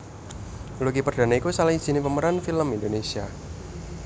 Lucky Perdana iku salah sijiné pemeran film Indonesia